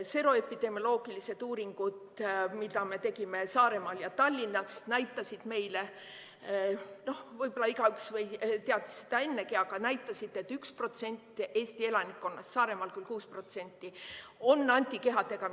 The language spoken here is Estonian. Seroepidemioloogilised uuringud, mida me tegime Saaremaal ja Tallinnas, näitasid meile – noh, võib-olla igaüks teadis seda ennegi, aga need näitasid –, et 1% Eesti elanikkonnast, Saaremaal küll 6%, on antikehadega.